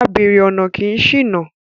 Abèrè ọ̀nà kì í ṣìnà